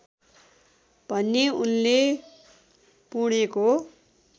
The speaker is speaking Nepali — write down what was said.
भने उनले पुणेको